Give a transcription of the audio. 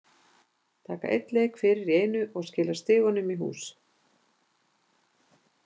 Taka einn leik fyrir í einu og skila stigunum í hús.